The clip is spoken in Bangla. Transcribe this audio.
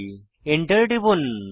Enter টিপুন